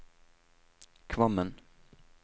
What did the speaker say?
Kvammen